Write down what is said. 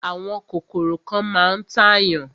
Àwọn kòkòrò kan máa ń tàyàn.